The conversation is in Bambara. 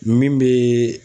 Min bee